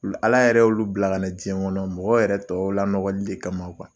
Ala yɛrɛ olu bila ka na diɲɛ kɔnɔ mɔgɔ yɛrɛ tɔw lanɔgɔli kama kuwa.